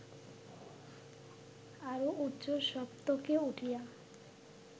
আরও উচ্চ সপ্তকে উঠিয়া